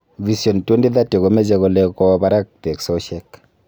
Vision 2030 komeche kole kowo barak teksosiek